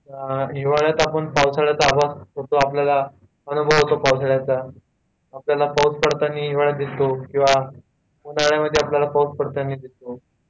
हिवाळ्यात आपण पावसाळ्याचा आपल्याला अनुभव येतो पावसाळ्याचा, आपल्याला पाऊस पडताना हिवाळ्यात दिसतो किंवा उन्हाळ्यात मध्ये पाऊस पडताना दिसतो